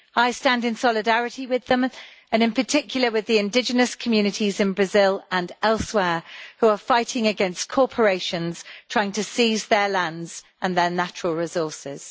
I stand in solidarity with them, and in particular with the indigenous communities in Brazil and elsewhere, who are fighting against corporations trying to seize their lands and their natural resources.